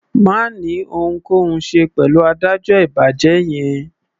Má ni ohunkóhun ṣe pẹ̀lú adájọ́ ìbàjẹ́ yẹn.